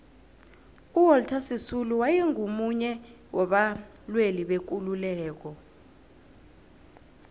uwalter sisulu waye ngumunye waba lwelibekululeko